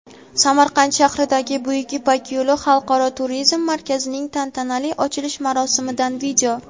Samarqand shahridagi "Buyuk ipak yo‘li" xalqaro turizm markazining tantanali ochilish marosimidan video.